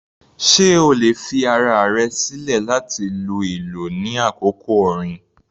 Sé o lè fi ara rẹ̀ sílẹ̀ láti lu ìlú ní àkókò orin?